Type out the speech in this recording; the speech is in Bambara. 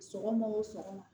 Sɔgɔma o sɔgɔma